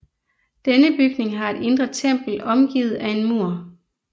Denne bygning har et indre tempel omgivet af en mur